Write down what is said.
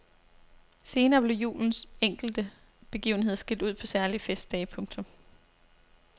Senere blev julens enkelte begivenheder skilt ud på særlige festdage. punktum